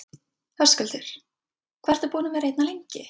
Höskuldur: Hvað ertu búinn að vera hérna lengi?